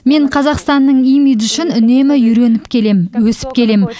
мен қазақстанның имиджі үшін үнемі үйреніп келем өсіп келем